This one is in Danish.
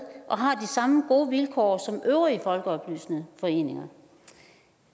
og har de samme gode vilkår som øvrige folkeoplysende foreninger